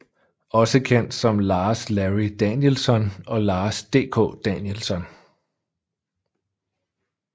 Også kendt som Lars Larry Danielsson og Lars DK Danielsson